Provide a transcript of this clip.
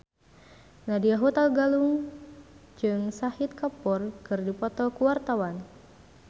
Nadya Hutagalung jeung Shahid Kapoor keur dipoto ku wartawan